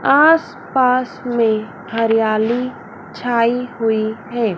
आस पास में हरियाली छायी हुईं है।